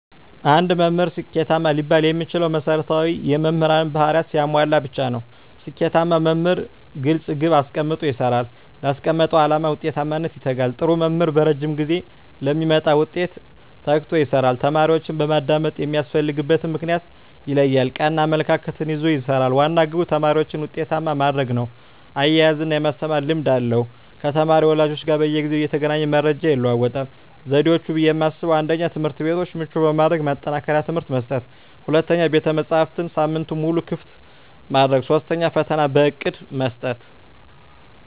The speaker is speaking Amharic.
አንድ መምህር ስኬታማ ሊባል የሚችለው መሰረታዊ የመምህር ባህርያትን ሲያሟላ ብቻ ነው። ስኬታማ መምህር ግልፅ ግብ አስቀምጦ ይሰራል: ላስቀመጠው አላማ ውጤታማነት ይተጋል, ጥሩ መምህር በረዥም ጊዜ ለሚመጣ ውጤት ተግቶ ይሰራል። ተማሪዎችን በማዳመጥ የሚያስፈልግበትን ምክንያት ይለያል ,ቀና አመለካከት ይዞ ይሰራል, ዋና ግቡ ተማሪዎችን ውጤታማ ማድረግ ነው እያዝናና የማስተማር ልምድ አለው ከተማሪ ወላጆች ጋር በየጊዜው እየተገናኘ መረጃ ይለዋወጣል። ዘዴዎች ብዬ የማስበው 1ኛ, ትምህርትቤቶችን ምቹ በማድረግ ማጠናከሪያ ትምህርት መስጠት 2ኛ, ቤተመፅሀፍትን ሳምንቱን ሙሉ ክፍት ማድረግ 3ኛ, ፈተና በእቅድ መስጠት።